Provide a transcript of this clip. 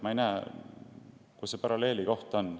Ma ei näe, kus siin see paralleel on.